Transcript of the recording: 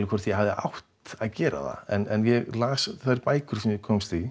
hvort ég hafi átt að gera það en ég las þær bækur sem ég komst í